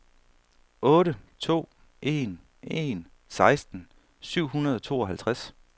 otte to en en seksten syv hundrede og tooghalvtreds